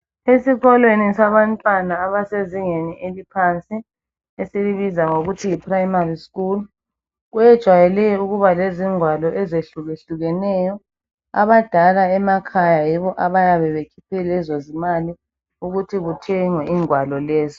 Esikolweni sabantwana abasezingeni eliphansi esilibiza ngokuthi yiprayimari skul kwejwayele ukuba lezingwalo eyehlukehlukeneyo. Abadala emakhaya yibo abayabe bekhiphe lezo zimali ukuthi kuthengwe ingwalo lezo.